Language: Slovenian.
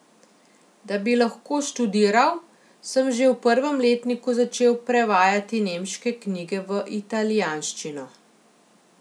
Da bi lahko študiral, sem že v prvem letniku začel prevajati nemške knjige v italijanščino.